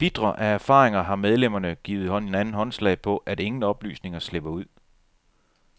Bitre af erfaringer har medlemmerne givet hinanden håndslag på, at ingen oplysninger slipper ud.